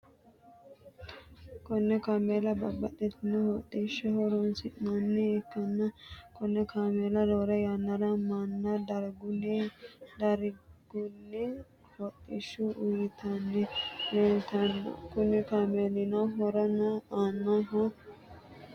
Kone kamela babtitino hodishaho horonisinani ikana Kone kamela rore yanara mana dariguni hodishu uyitani lelitano Kuni kamelino horono anohu lanibunit